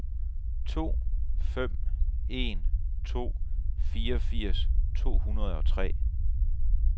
to fem en to fireogfirs to hundrede og tre